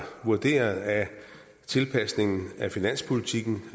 vurderet at tilpasningen af finanspolitikken